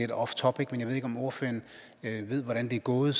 off topic men jeg ved ikke om ordføreren ved hvordan det er gået